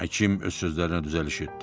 Həkim öz sözlərinə düzəliş etdi.